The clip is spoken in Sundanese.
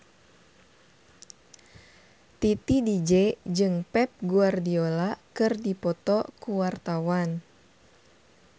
Titi DJ jeung Pep Guardiola keur dipoto ku wartawan